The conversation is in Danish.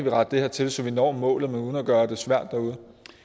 at rette det her til så vi når målet men uden at gøre det svært derude